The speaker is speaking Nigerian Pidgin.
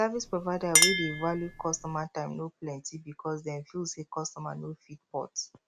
di service provider wey dey value customer time no plenty because dem feel sey customer no fit port